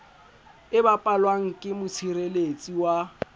e bapalwang ke motshireletsi wa